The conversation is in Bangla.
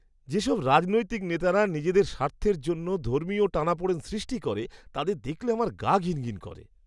যেসব রাজনৈতিক নেতারা নিজের স্বার্থের জন্য ধর্মীয় টানাপোড়েন সৃষ্টি করে, তাদের দেখলে আমার গা ঘিনঘিন করে।